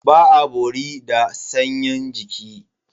Ba a bori da sanyin jiki.